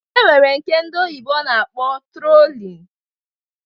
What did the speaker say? E nwere nke ndị bekee na-akpọ trollin